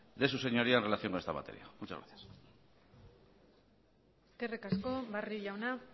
de su señoría en relación a esta materia muchas gracias eskerrik asko barrio jauna